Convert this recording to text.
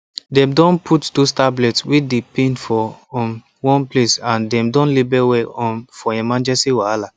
dem don put those tablets wey dey pain for um one place and them don label well um for emergency wahala